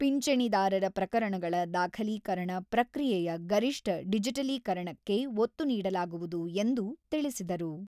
ಪಿಂಚಣಿದಾರರ ಪ್ರಕರಣಗಳ ದಾಖಲೀಕರಣ ಪ್ರಕ್ರಿಯೆಯ ಗರಿಷ್ಠ ಡಿಜಿಟಲೀಕರಣಕ್ಕೆ ಒತ್ತು ನೀಡಲಾಗುವುದು ಎಂದು ತಿಳಿಸಿದರು.